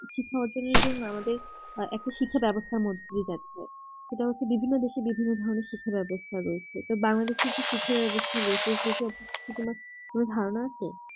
শিক্ষা অর্জনের জন্য আমাদের আ একটা শিক্ষা ব্যবস্থার মধ্যে যদি দেখা হয় সেটা হচ্ছে বিভিন্ন দেশে বিভিন্ন ধরনের শিক্ষা ব্যবস্থা রয়েছে তো বাংলাদেশের কি শিক্ষা ব্যবস্থা রয়েছে সেসব শুধুমাত্র ধারণা আছে